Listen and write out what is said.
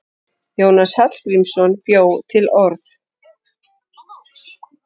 Jónas Hallgrímsson bjó til orð.